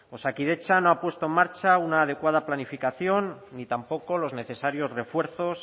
osakidetza no ha puesto en marcha una adecuada planificación ni tampoco los necesarios refuerzos